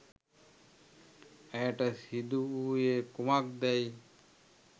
ඇයට සිදුවූයේ කුමක්දැයි